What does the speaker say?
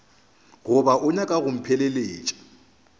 goba o nyaka go mpheleletša